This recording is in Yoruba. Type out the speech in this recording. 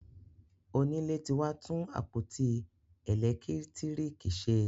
Onílé ti wá tún àpótí elekitiriki ṣe